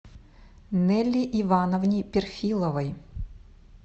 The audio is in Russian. нелли ивановне перфиловой